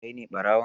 Kai ne ɓarawon?